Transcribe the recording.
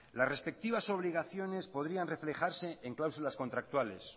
las respectivas obligaciones podrían reflejarse en cláusulas contractuales